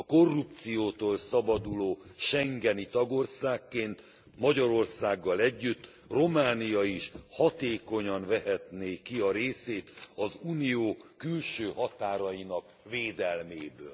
A korrupciótól szabaduló schengeni tagországként Magyarországgal együtt Románia is hatékonyan vehetné ki a részét az Unió külső határainak védelméből.